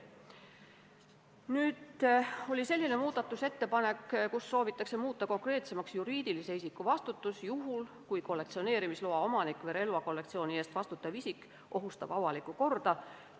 Tehti ka selline muudatusettepanek, millega soovitakse muuta konkreetsemaks juriidilise isiku vastutust juhul, kui kollektsioneerimisloa omanik või relvakollektsiooni eest vastutav isik ohustab avalikku korda.